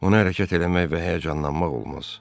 Onu hərəkət eləmək və həyəcanlanmaq olmaz.